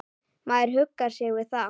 Maður huggar sig við það.